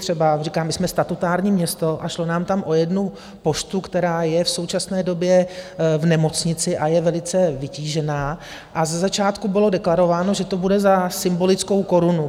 Třeba říkám, my jsme statutární město, a šlo nám tam o jednu poštu, která je v současné době v nemocnici a je velice vytížená, a ze začátku bylo deklarováno, že to bude za symbolickou korunu.